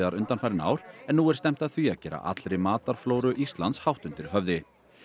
undanfarin ár en nú er stefnt að því að gera allri Íslands hátt undir höfði